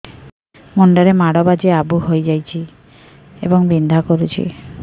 ମୁଣ୍ଡ ରେ ମାଡ ବାଜି ଆବୁ ହଇଯାଇଛି ଏବଂ ବିନ୍ଧା କରୁଛି